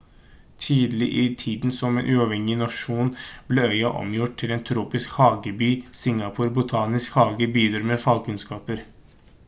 tidlig i tiden som en uavhengig nasjon ble øya omgjort til en tropisk hageby singapor botaniske hage bidro med fagkunnskaper